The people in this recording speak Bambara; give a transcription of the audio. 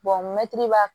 mɛtiri b'a